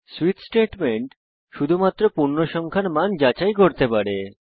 switch statement শুধুমাত্র পূর্ণসংখ্যার মান যাচাই করতে পারে